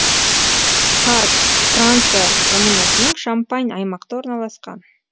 парг франция коммунасының шампань аймақта орналасқан